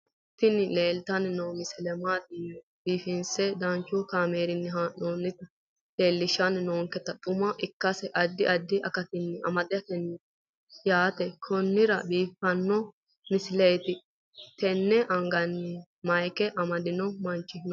tini leeltanni noo misile maaati yiniro biifinse danchu kaamerinni haa'noonnita leellishshanni nonketi xuma ikkase addi addi akata amadaseeti yaate konnira biiffanno misileeti tini anga mayika amandohu manchu no